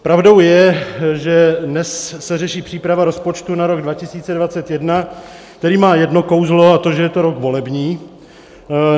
Pravdou je, že dnes se řeší příprava rozpočtu na rok 2021, který má jedno kouzlo, a to že je to rok volební.